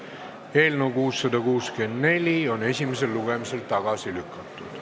Eelnõu 664 on esimesel lugemisel tagasi lükatud.